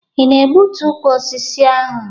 Ị na-egbutu ukwu osisi ahụ?